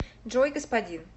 джой господин